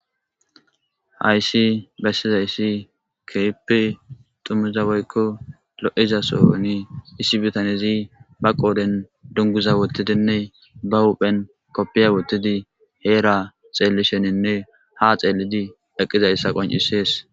Hayssi bessizayssi keyp tumiza woykko lo'iza sooyoni issi bitanezi ba qooden dunguza wotidinne ba huphen koppiya wottidi heera xeellisheninne ha xeellidi eqqizayssa qon'isees.